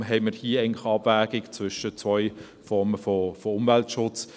Daher haben wir hier eigentlich eine Abwägung zwischen zwei Formen von Umweltschutz.